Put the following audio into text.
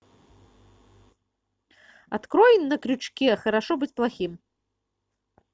открой на крючке хорошо быть плохим